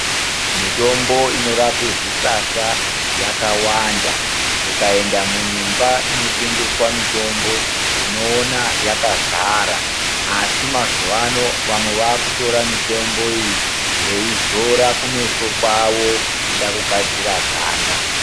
Mitombo inorape zvisasa yakawanda. Ukaenda munyumba inotengeswa mitombo ,unoona yakazara, asi mazuwaano vamwe vaakutora mitombo iyi veizora kumeso kwavo ,kuda kugadzira ganda.